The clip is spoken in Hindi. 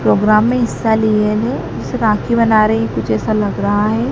प्रोग्राम में हिस्सा लिए है जैसे राखी बना रही है कुछ ऐसा लग रहा है।